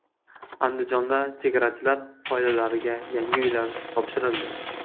Andijonda chegarachilar oilalariga yangi uylar topshirildi.